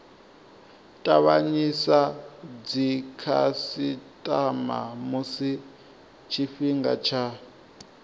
tavhanyisa dzikhasitama musi tshifhinga tsha